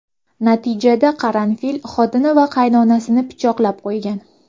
Natijada Qaranfil xotini va qaynotasini pichoqlab qo‘ygan.